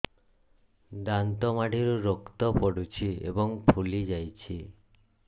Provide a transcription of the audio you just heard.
ଦାନ୍ତ ମାଢ଼ିରୁ ରକ୍ତ ପଡୁଛୁ ଏବଂ ଫୁଲି ଯାଇଛି